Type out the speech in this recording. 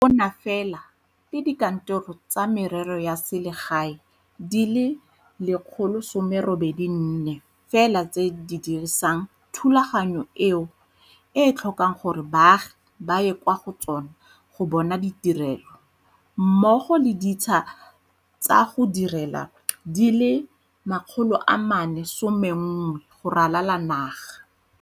Go na fela le dikantoro tsa merero ya selegae di le 184 fela tse di dirisang thulaganyo eo e tlhokang gore baagi ba ye kwa go tsona go bona ditirelo mmogo le ditsha tsa go direla di le 411 go ralala naga.